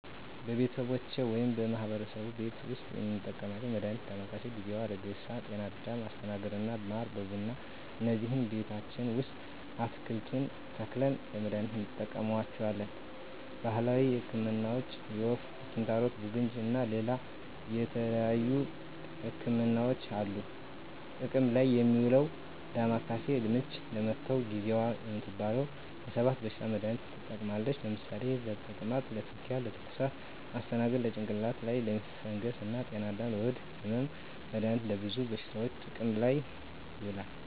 በቤተሰቦቼ ወይም በማህበረሰቡ ቤት ዉስጥ የምንጠቀመዉ መድሃኒት ዳማከሴ፣ ጊዜዋ፣ ሀረግሬሳ፣ ጤናአዳም፣ አስተናግር እና ማር በቡና እነዚህን ቤታችን ዉስጥ አትክልቱን ተክለን ለመድሃኒትነት እንጠቀማቸዋለን። ባህላዊ ህክምናዎች የወፍ፣ ኪንታሮት፣ ቡግንጂ እና ሌላ የተለያዩ ህክምናዎች አሉ። ጥቅም ላይ እሚዉለዉ ዳማከሴ፦ ምች ለመታዉ፣ ጊዜዋ እምትባለዋ ለ 7 በሽታዎች መድሃኒትነት ትጠቅማለች ለምሳሌ፦ ለተቅማጥ፣ ለትዉኪያ፣ ለትኩሳት... ፣ አስተናግር፦ ለጭንቅላት ላይ ፈንገስ እና ጤናአዳም፦ ለሆድ ህመም... መድሃኒቱ ለብዙ በሽታዎች ጥቅም ላይ ይዉላሉ።